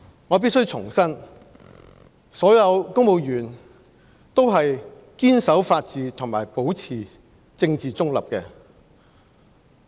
我必須重申，所有公務員都是堅守法治和保持政治中立的。